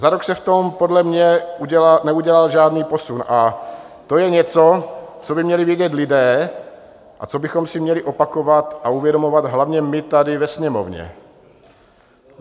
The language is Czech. Za rok se v tom podle mě neudělal žádný posun a to je něco, co by měli vědět lidé a co bychom si měli opakovat a uvědomovat hlavně my tady ve Sněmovně.